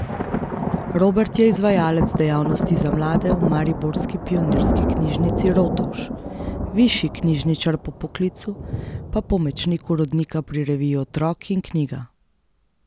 Robert je izvajalec dejavnosti za mlade v mariborski Pionirski knjižnici Rotovž, višji knjižničar po poklicu, pa pomočnik urednika pri reviji Otrok in knjiga.